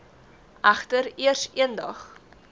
egter eers eendag